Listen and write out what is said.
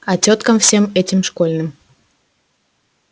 а тёткам всем этим школьным